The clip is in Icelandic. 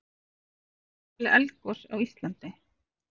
eru væntanleg eldgos á íslandi